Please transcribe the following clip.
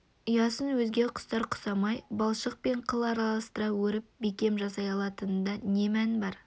ұясын өзге құстар құсамай балшық пен қыл араластыра өріп бекем жасай алатынында не мән бар